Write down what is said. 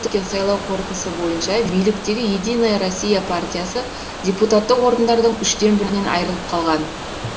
сайлау қорытындысы бойынша биліктегі единая россия партиясы депутаттық орындардың үштен бірінен айрылып қалған